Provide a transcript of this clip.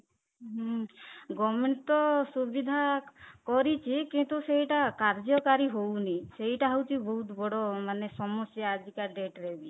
ହୁଁ , government ତ ସୁବିଧା କରିଛି କିନ୍ତୁ ସେଇଟା କାର୍ଯ୍ୟକାରୀ ହଉନି ସେଇଟା ହଉଚି ବହୁତ ବଡ଼ ମାନେ ସମସ୍ୟା ଆଜି କା date ରେ ବି